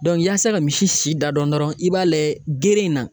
yaasa ka misi si da dɔn dɔrɔn i b'a lajɛ geren in na.